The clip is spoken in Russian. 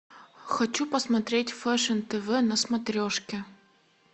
хочу посмотреть фэшн тв на смотрешке